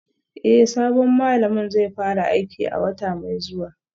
Eh sabon malamin zai fara aiki a wata mai zuwa